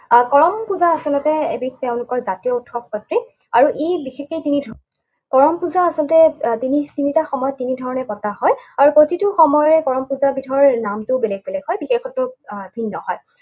আহ কৰম পূজা আচলতে এবিধ তেওঁলোকৰ জাতীয় উৎসৱসদৃশ। আৰু ই বিশেষকে তিনি ধৰণৰ। কৰম পূজা আচলতে তিনিটা সময়ত তিনি ধৰণে পতা হয়। আৰু প্ৰতিটো সময়ৰে কৰম পূজাবিধৰ নামটো বেলেগ বেলেগ হয়, বিশেষত্বও আহ ভিন্ন হয়।